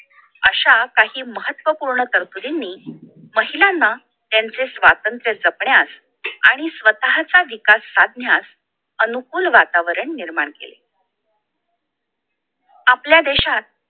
आशा काही महत्वपूर्वक तरतुदींनी महिलांना त्यांचे स्वतंत्र जपण्यास आणि स्वतःचा विकास साधण्यास अनुकूल वातावरण निर्माण केले आपल्या देशात